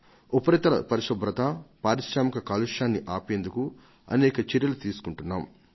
ఉపరితల పరిశుభ్రత పారిశ్రామిక కాలుష్యాన్ని ఆపేందుకు అనేక చర్యలు తీసుకుంటున్నాం